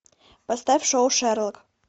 поставь шоу шерлок